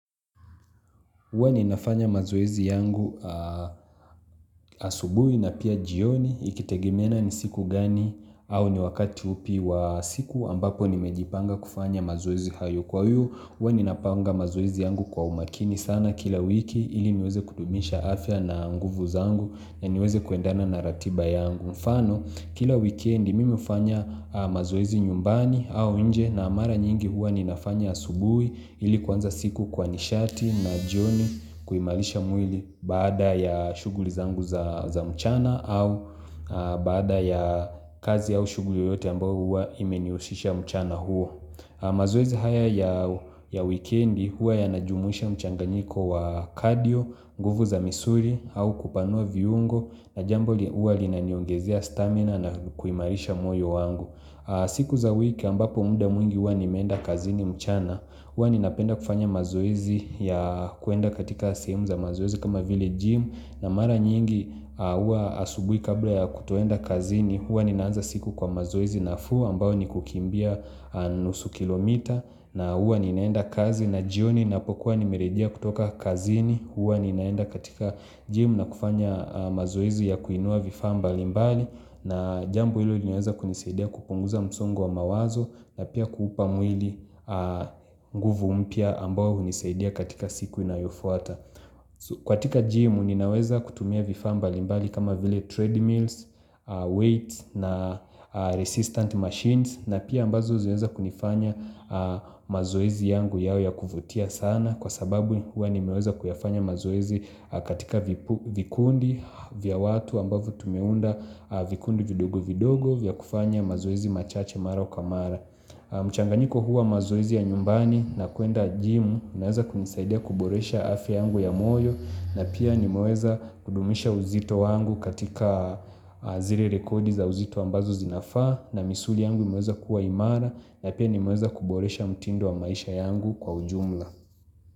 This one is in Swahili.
Huwa ninafanya mazoezi yangu asubuhii na pia jioni ikitegimeana ni siku gani au ni wakati upi wa siku ambapo nimejipanga kufanya mazoezi hayo kwa huu Huwa ninapanga mazoezi yangu kwa umakini sana kila wiki ili niweze kudumisha afya na nguvu zangu na niweze kuendana na ratiba yangu Kila wikendi, mimu hufanya mazoezi nyumbani au inje na mara nyingi huwa ninafanya asubuhi ili kuanza siku kwa nishati na jioni kuimarisha mwili baada ya shughuli zangu za mchana au baada ya kazi au shughuli yoyote ambayo huwa imenihushisha mchana huwa. Mazoezi haya ya wikendi hua yanajumuisha mchanganiko wa cardio, nguvu za misuli au kupanua viungo na jambo hua linaniongezia stamina na kuimarisha moyo wangu siku za wiki ambapo muda mwingi hua nimenda kazini mchana, hua ninapenda kufanya mazoezi ya kuenda katika simu za mazoezi kama vile gym na mara nyingi huwa asubuhi kabla ya kutoenda kazini, hua ninaanza siku kwa mazoezi nafuu ambayo ni kukimbia nusu kilomita na hua ninaenda kazi na jioni napokuwa nimerejea kutoka kazini, hua ninaenda katika gym na kufanya mazoezi ya kuinua vifa mbalimbali na jambu hilo linaweza kunisaidia kupunguza msongo wa mawazo na pia kuupa mwili nguvu mpya ambayo hunisaidia katika siku inayofuata katika gym ninaweza kutumia vifaa mbalimbali kama vile treadmills, weights na resistant machines na pia ambazo zaweza kunifanya mazoezi yangu yawe ya kuvutia sana kwa sababu huwa nimeweza kuyafanya mazoezi katika vikundi vya watu ambavyo tumeunda vikundi vidogo vidogo vya kufanya mazoezi machache mara kwa mara. Mchanganyiko huwa mazoezi ya nyumbani na kuenda jimu inaweza kunisaidia kuboresha afya yangu ya moyo na pia nimeweza kudumisha uzito wangu katika zile rekodi za uzito ambazo zinafaa na misuli yangu imeweza kuwa imara na pia nimeweza kuboresha mtindo wa maisha yangu kwa ujumla.